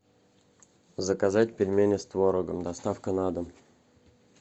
заказать пельмени с творогом доставка на дом